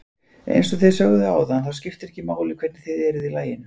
Eins og þið sögðuð áðan þá skiptir ekki máli hvernig þið eruð í laginu.